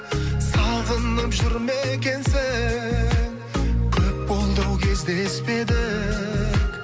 сағынып жүр ме екенсің көп болды ау кездеспедік